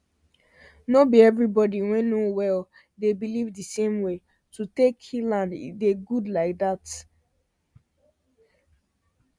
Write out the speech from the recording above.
no be every body wey no well dey believe the same way to take healand e dey good like that